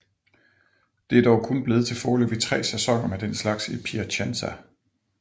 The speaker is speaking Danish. Det er dog kun blevet til foreløbig tre sæsoner med den slags i Piacenza